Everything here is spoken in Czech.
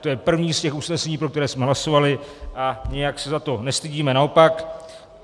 To je první z těch usnesení, pro které jsme hlasovali, a nijak se za to nestydíme, naopak.